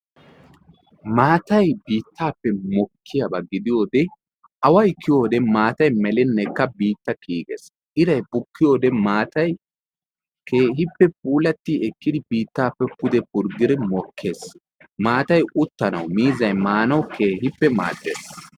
Maatay biittaappe mokkiyaaba gidiyoode away kiyiyoode maatay melinnekka biitta kiyigees. Iray bukkiyoode maatay keehippe puulati ekkidi biittappe pude purgidi mokkees. Maatay uttanawu miizzay maanawu keehippe maaddees.